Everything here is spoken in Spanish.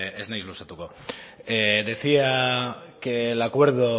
ez naiz luzatuko decía que el acuerdo